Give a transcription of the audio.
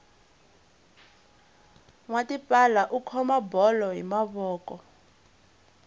nwa tipala u khoma bolo hi mavoko